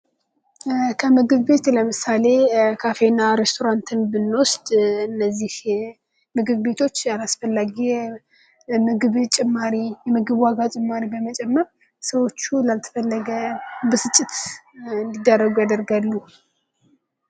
ከምግብ ቤት ለምሳሌ ካፌ እና ሬስቶራንትን ብንወስድ እነዚህ ምግብ ቤቶች አስፈላጊ ምግብ ዋጋ ጭማሪ በመጨመር ሰዎቹ ላልተፈለገ ብስጭት እንዲዳረጉ ያደርጋሉ ።